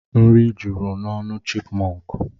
Nri juru n'ọnụ chipmọnkụ.